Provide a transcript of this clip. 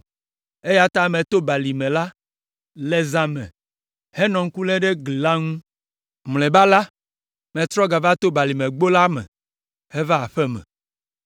eya ta meto balime la le zã me henɔ ŋku lém ɖe gli la ŋu. Mlɔeba la, metrɔ gava to Balimegbo la me heva aƒe me.